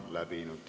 Aitäh teile kõigile!